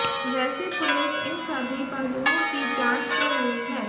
वैसे पुलिस इन सभी पहलुओं की जांच कर रही है